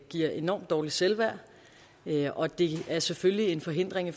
giver enormt dårligt selvværd og det er selvfølgelig en forhindring